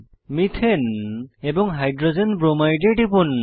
methane এবং hydrogen bromide এ টিপুন